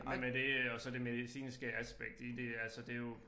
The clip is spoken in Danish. Men men det øh og så det medicinske aspekt i det altså det jo